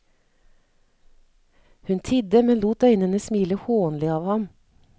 Hun tidde men lot øynene smile hånlig av ham.